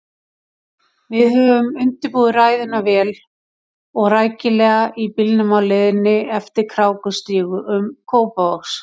Við höfðum undirbúið ræðuna vel og rækilega í bílnum á leiðinni eftir krákustígum Kópavogs.